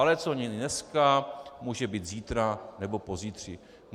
Ale co není dneska, může být zítra nebo pozítří.